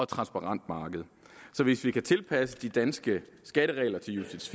transparent marked så hvis vi kan tilpasse de danske skatteregler til ucits